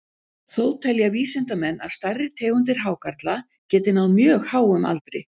Þó telja vísindamenn að stærri tegundir hákarla geti náð mjög háum aldri.